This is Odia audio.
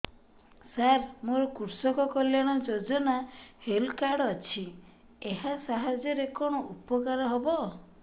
ସାର ମୋର କୃଷକ କଲ୍ୟାଣ ଯୋଜନା ହେଲ୍ଥ କାର୍ଡ ଅଛି ଏହା ସାହାଯ୍ୟ ରେ କଣ ଉପକାର ହବ